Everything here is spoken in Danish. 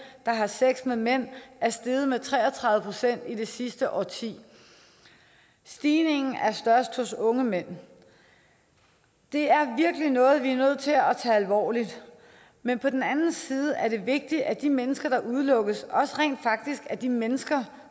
der har sex med mænd er steget med tre og tredive procent i det sidste årti stigningen er størst hos unge mænd det er virkelig noget vi er nødt til at tage alvorligt men på den anden side er det vigtigt at de mennesker der udelukkes også rent faktisk er de mennesker